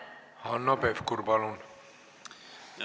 Hanno Pevkur, palun!